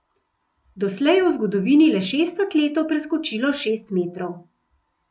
Doslej je v zgodovini le šest atletov preskočilo šest metrov.